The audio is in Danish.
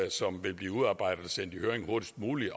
som vil blive udarbejdet og sendt i høring hurtigst muligt